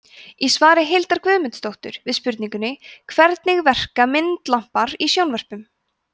í svari hildar guðmundsdóttur við spurningunni hvernig verka myndlampar í sjónvörpum